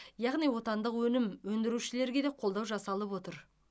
яғни отандық өнім өндірушілерге де қолдау жасалып отыр